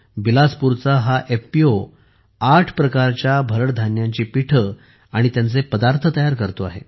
बिलासपूरचा हा एफपीओ 8 प्रकारच्या भरड धान्याची पीठे आणि त्यांचे पदार्थ तयार करतो आहे